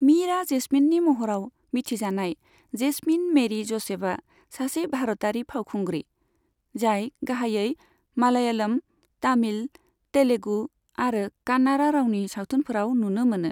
मीरा जेस्मीननि महराव मिथिजानाय जेसमिन मेरि ज'सेफआ सासे भारतारि फावखुंग्रि, जाय गाहायै मालायालम, तामिल, तेलुगु आरो कान्नाड़ा रावनि सावथुनफोराव नुनो मोनो।